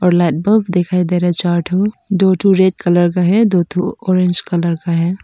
और light bulb दिखाई दे रहा है चार थू दो थू रेड कलर का है दो थू औरेंज कलर का है।